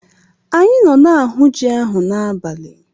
Anyị nọ na-ahụ ji ahụ n'abalị.